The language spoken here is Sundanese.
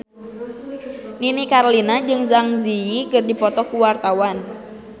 Nini Carlina jeung Zang Zi Yi keur dipoto ku wartawan